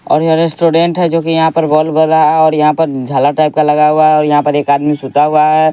और यह रेस्टोरेंट है जो कि यहाँ बॉल्ब बर रहा है और यहाँ पर झालर टाइप का लगा हुआ है और एक आदमी सुता हुआ है।